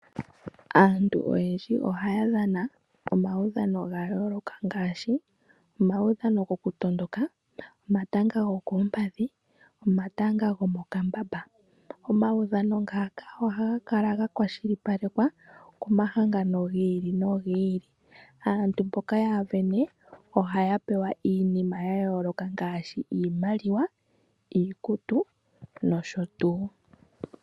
Aantu oyendji ohaya dhana omaudhano ga yooloka ngaashi omaudhano gokutondoka, omatanga gokoompadhi nomatanga gomokambamba. Omaudhano ngaka ohaga kala ga kwashilipalekwa komahangano gi ili nogi ili. Aantu mboka ohaya sindana ohaya pewa iinima ya yooloka ngaashi iimaliwa, iikutu nosho tuu.